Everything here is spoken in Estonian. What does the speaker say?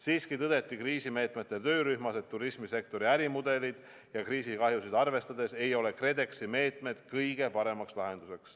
Siiski tõdeti kriisimeetmete töörühmas, et turismisektori ärimudeleid ja kriisikahjusid arvestades ei ole KredExi meetmed kõige parem lahendus.